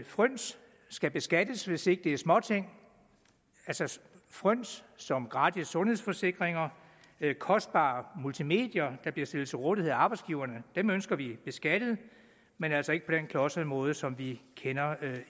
fryns skal beskattes hvis det ikke er småting fryns som gratis sundhedsforsikringer kostbare multimedier der bliver stillet til rådighed af arbejdsgiverne ønsker vi beskattet men altså ikke på den klodsede måde som vi kender